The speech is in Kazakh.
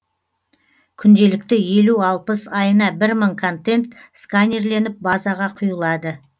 күнделікті елу алпыс айына бір мың контент сканерленіп базаға құйылады